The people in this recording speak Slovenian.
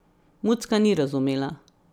Mucka ni razumela.